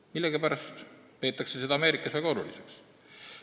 Millegipärast peetakse seda Ameerikas väga oluliseks.